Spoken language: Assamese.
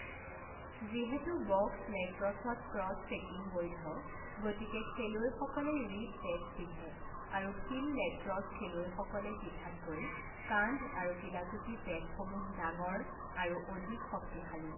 যিহেতু বক্স লেক্ৰছত ক্ৰছ চেকিং বৈধ, গতিকে খেলুৱৈসকলে ৰিব পেডছ পিন্ধে আৰু ফিল্ড লেক্ৰছ খেলুৱৈসকলে পিন্ধাতকৈ কান্ধ আৰু কিলাকুটি পেডসমূহ ডাঙৰ আৰু অধিক শক্তিশালী।